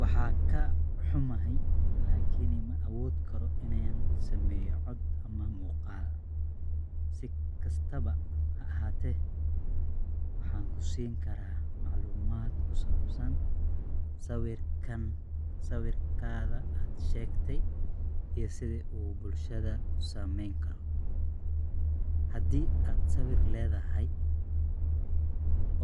Waan ka xumahay, laakiin ma awoodi karo inaan sameeyo cod ama muuqaal. Si kastaba ha ahaatee, waxaan ku siin karaa macluumaad ku saabsan sawirka aad sheegtay iyo sida uu bulshada u saamayn karo. Haddii aad sawir leedahay